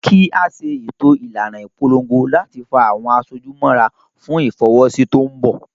Kí a ṣètò ìlànà ìpolongo láti fa àwọn aṣojú mọ́ra fún Ìfọwọ́sí tó ń bọ̀